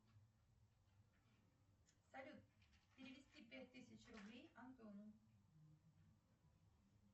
салют перевести пять тысяч рублей антону